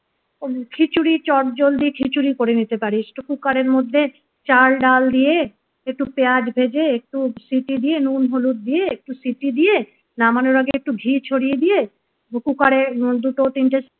খিচুড়ি চটজলদি খিচুড়ি করে নিতে পারিস কুকারের মধ্যে চাল ডাল দিয়ে একটু পেঁয়াজ ভেজে একটু সিটি দিয়ে নুন হলুদ দিয়ে একটু সিটি দিয়ে নামানোর আগে একটু ঘি ছরিয়ে দিয়ে কুকারে দুটো তিনটে